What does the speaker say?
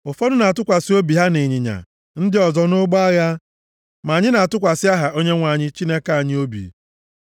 Ụfọdụ na-atụkwasị obi ha na ịnyịnya, ndị ọzọ nʼụgbọ agha; ma anyị na-atụkwasị aha Onyenwe anyị, Chineke anyị, obi.